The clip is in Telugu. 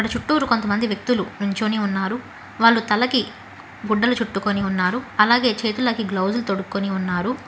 చుట్టూరు కొంతమంది వ్యక్తులు నుంచొని ఉన్నారు వాళ్లు తలకి గుడ్డలు చుట్టుకుని ఉన్నారు అలాగే చేతులకి గ్లౌజులు తొడుక్కొని ఉన్నారు.